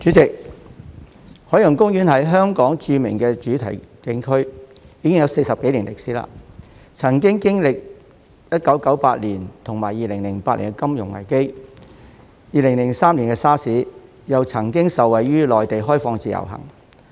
代理主席，海洋公園是香港著名的主題景區，已經有40多年歷史，曾經歷1998年和2008年的金融危機、2003年的 SARS， 又曾經受惠於內地開放自由行。